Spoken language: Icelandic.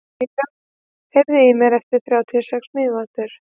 Vivian, heyrðu í mér eftir þrjátíu og sex mínútur.